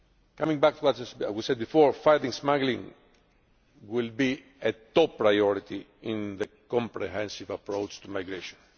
Coming back to what was said before, fighting smuggling will be a top priority in the comprehensive approach to migration.